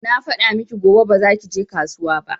Na faɗa miki gobe ba za ki je kasuwa ba